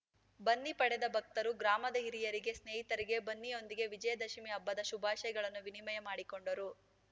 ಬನ್ನಿ ಪಡೆದ ಭಕ್ತರು ಗ್ರಾಮದ ಹಿರಿಯರಿಗೆ ಸ್ನೇಹಿತರಿಗೆ ಬನ್ನಿಯೊಂದಿಗೆ ವಿಜಯ ದಶಮಿ ಹಬ್ಬದ ಶುಭಾಶಯಗಳನ್ನು ವಿನಿಮಯ ಮಾಡಿಕೊಂಡರು